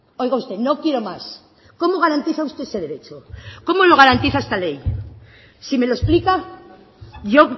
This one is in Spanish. oiga usted no quiero más cómo garantiza usted ese derecho cómo lo garantiza esta ley si me lo explica yo